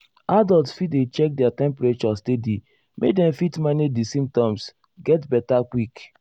adults fit dey check their temperature steady make dem fit manage di symptoms get beta quick.